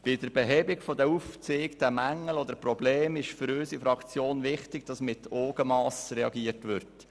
Bei der Behebung der aufgezeigten Mängel oder Probleme ist für unsere Fraktion wichtig, dass mit Augenmass reagiert wird.